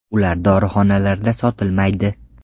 Ular dorixonalarda sotilmaydi.